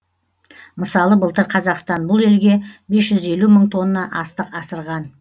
мысалы былтыр қазақстан бұл елге бес жүз елу мың тонна астық асырған